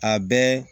A bɛɛ